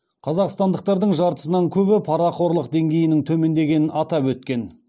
қазақстандықтардың жартысынан көбі парақорлық деңгейінің төмендегенін атап өткен